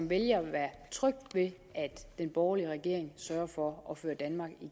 vælge at være tryg ved at den borgerlige regering sørger for at føre danmark